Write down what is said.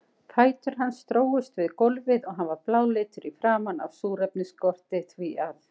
Fætur hans drógust við gólfið og hann var bláleitur í framan af súrefnisskorti, því að